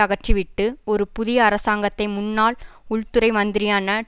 அகற்றிவிட்டு ஒரு புதிய அரசாங்கத்தை முன்னாள் உள்துறை மந்திரியான